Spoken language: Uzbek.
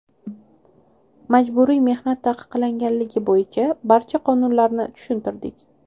Majburiy mehnat taqiqlanganligi bo‘yicha barcha qonunlarni tushuntirdik.